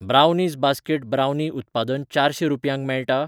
Brownies basket brownie उत्पादन चारशें रुपयांक मेळटा?